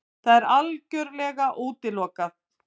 Það er algjörlega útilokað!